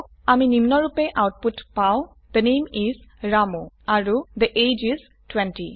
আমি নিম্নৰুপে আউটপুট পাও থে নামে ইচ ৰামু আৰু থে এজিই ইচ 20